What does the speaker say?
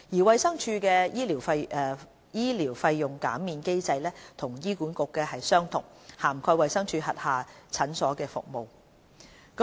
衞生署的醫療費用減免機制與醫管局的相同，涵蓋衞生署轄下診所的服務。